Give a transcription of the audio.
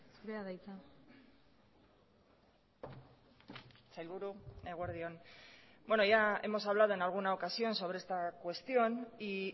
zurea da hitza sailburu eguerdi on bueno ya hemos hablado en alguna ocasión sobre esta cuestión y